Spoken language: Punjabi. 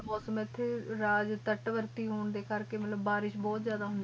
ਮੂਸਮ ਏਥੇ ਤ੍ਤਾਤ੍ਵਾਰਤੀ ਹੋਣ ਏਕ ਬਾਰਿਸ਼ ਬੋਹਤ ਜਿਆਦਾ ਹੋਣ ਦੀ ਆ ਹਨ ਜੀ ਹਨ ਜੀ ਬਦਲ ਚਕਨਾਈ ਚਾਵਲ